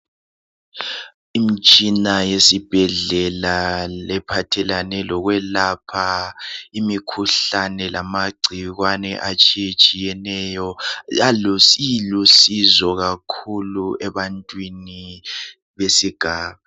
Imtshina yesibhedlela ephathelane lokwelapha imikhuhlane lamagcikwane atshiyatshiyeneyo. Ilusizo kakhulu ebantwini besigaba.